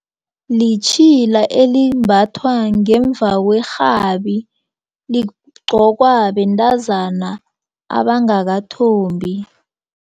Litjhila elimbathwa ngemva kwerhabi ligqokwa bentazana abangakathombi.